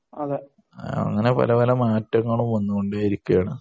അങ്ങനെ പല പല മാറ്റങ്ങളും വന്നു കൊണ്ടേയിരിക്കുകയാണ്